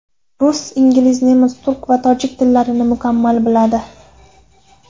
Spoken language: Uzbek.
Rus, ingliz, nemis, turk va tojik tillarini mukammal biladi.